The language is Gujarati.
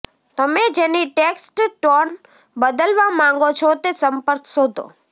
તમે જેની ટેક્સ્ટ ટોન બદલવા માંગો છો તે સંપર્ક શોધો